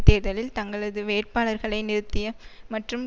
தேர்தலில் தங்களது வேட்பாளர்களை நிறுத்திய மற்றும்